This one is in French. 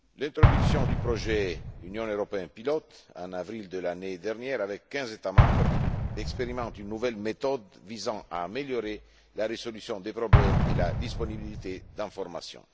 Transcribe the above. deuxièmement, l'introduction du projet Union européenne pilote, en avril de l'année dernière, avec quinze États membres, expérimente une nouvelle méthode visant à améliorer la résolution des problèmes et la disponibilité des informations